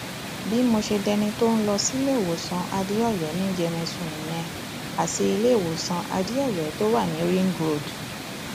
bí mo ṣe dẹni tó ń lọ síléemọsán adéòyò ní yẹmẹtù nìyẹn àti iléewòsàn adéòyò tó wà ní ring road